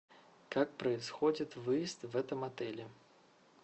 как происходит выезд в этом отеле